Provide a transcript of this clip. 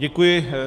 Děkuji.